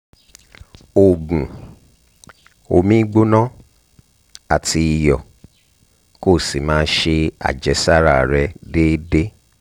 oògùn omi gbona àti iyọ̀ kó o sì máa ṣe àjẹsára rẹ̀ déédéé